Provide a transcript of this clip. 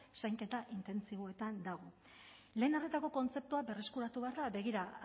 zainketa intentsiboetan dago lehen arretako kontzeptua berreskuratu behar da begira